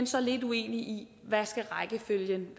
så lidt uenige i hvad rækkefølgen